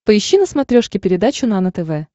поищи на смотрешке передачу нано тв